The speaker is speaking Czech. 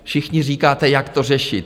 Všichni říkáte: Jak to řešit?